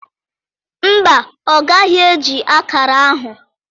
Mba, ọ gaghị eji akara ahụ.